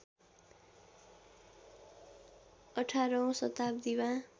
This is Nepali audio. १८ औँ शताब्दीमा